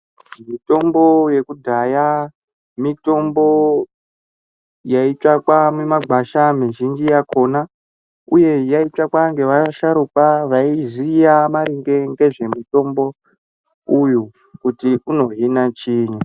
Mitombo yekudhaya mitombo yaitsvakwa mimagwasha mizhinji yakhona uye yaitsvakwa ngevasharukwa vaiziya maringe ngezvemutombo uyu kuti unohina chiini.